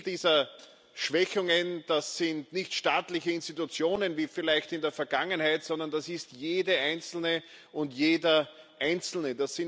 Das Ziel dieser Schwächungen, das sind nicht staatliche Institutionen wie vielleicht in der Vergangenheit, sondern das ist jede Einzelne und jeder Einzelne.